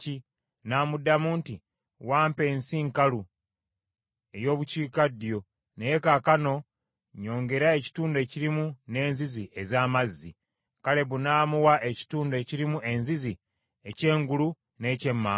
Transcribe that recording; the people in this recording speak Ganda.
N’amuddamu nti, “Wampa ensi nkalu ey’obukiikaddyo naye kaakano nnyongera ekitundu ekirimu n’enzizi ez’amazzi.” Kalebu n’amuwa ekitundu ekirimu enzizi ekyengulu n’ekyemmanga.